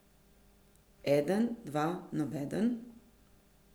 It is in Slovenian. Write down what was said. Eden, dva, nobeden?